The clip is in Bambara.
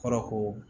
Kɔrɔ ko